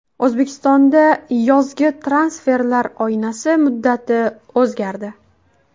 O‘zbekistonda yozgi transferlar oynasi muddati o‘zgardi.